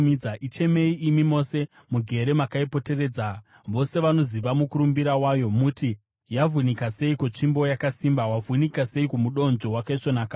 Ichemei, imi mose mugere makaipoteredza, vose vanoziva mukurumbira wayo; muti, ‘Yavhunika seiko tsvimbo yakasimba, wavhunika seiko mudonzvo wakaisvonaka!’